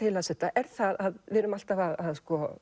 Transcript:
ég las þetta er það að við erum alltaf að